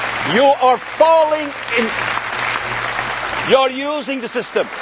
reality. You are using the